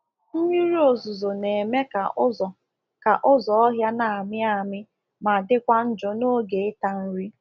mmiri ozuzo na eme ka ụzọ ka ụzọ ọhịa na amị amị ma dịkwa njọ n'oge ịta nri